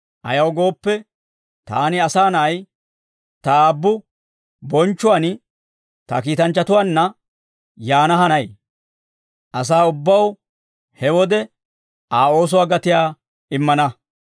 Ayaw gooppe, taani, Asaa Na'ay, ta Aabbu bonchchuwaan ta kiitanchchatuwaanna yaana hanay; asaa ubbaw he wode Aa oosuwaa gatiyaa immana.